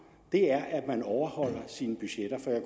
er at man overholder sine budgetter for jeg